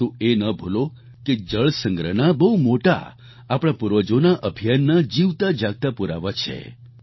પરંતુ એ ન ભૂલો કે જળસંગ્રહના બહુ મોટા આપણા પૂર્વજોના અભિયાનના જીવતા જાગતા પુરાવા છે